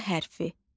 Ç hərfi.